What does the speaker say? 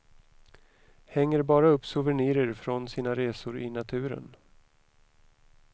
Hänger bara upp souvenirer från sina resor i naturen.